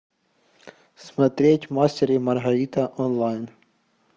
смотреть мастер и маргарита онлайн